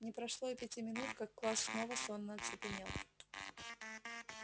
не прошло и пяти минут как класс снова сонно оцепенел